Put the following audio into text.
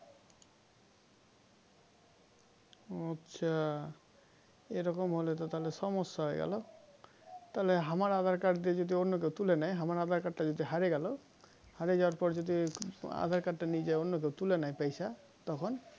আচ্ছা এরকম হলে তো তাহলে সমস্যা হয়ে গেল তাহলে আমার aadhar card দিয়ে যদি অন্য কেও তুলে নেয় আমার aadhar card টা যদি হারিয়ে গেলো হারিয়ে যাওয়ার পর যদি aadhar card টা নিয়ে গিয়ে যদি অন্য কেউ তুলে ন্যায় পায়সা তখন